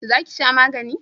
Za ki sha magani?